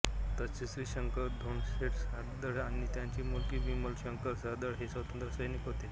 तसेच श्री शंकर धोंडशेठ सार्दळ आणि त्यांची मुलगी विमल शंकर सार्दळ हे स्वातंत्र्यसैनिक होते